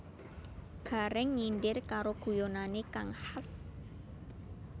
Gareng nyindir karo guyonane kang khas